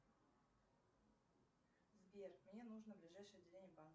сбер мне нужно ближайшее отделение банка